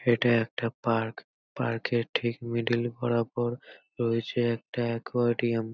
এটা একটা পার্ক । পার্ক -এর ঠিক মিডিল বরাবর রয়েছে একটা অ্য়াকরডিয়াম ।